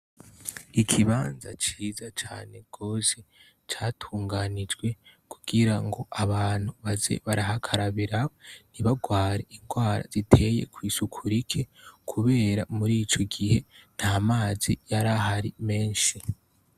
Ikibanza ciza cane gose catunganijwe kugira ngo abantu baze barahakarabira ntibagware ingwara ziteye kw'isuku rike kubera murico gihe nta mazi yarahari menshi.